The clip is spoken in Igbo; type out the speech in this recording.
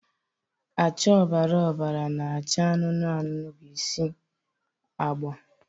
acha ọbara ọbara na acha anụnụ anụnụ bụ isi agba